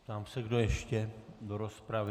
Ptám se, kdo ještě do rozpravy.